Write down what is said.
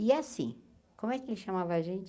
E assim, como é que ele chamava a gente?